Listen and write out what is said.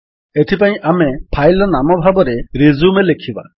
ଏଥିପାଇଁ ଆମେ ଫାଇଲ୍ ର ନାମ ଭାବରେ ରିଜ୍ୟୁମ ଲେଖିବା